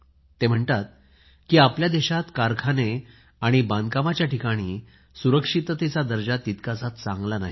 ते लिहितात की आपल्या देशात कारखाने आणि बांधकामाच्या ठिकाणी सुरक्षिततेचा दर्जा तितकासा चांगला नाही